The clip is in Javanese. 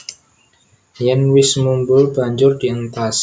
Yèn wis mumbul banjur dientas